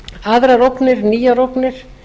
aðrar ógnir nýjar ógnir